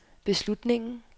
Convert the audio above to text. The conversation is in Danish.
beslutningen